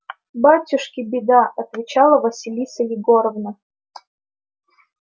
батюшки беда отвечала василиса егоровна